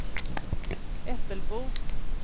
Äppelbo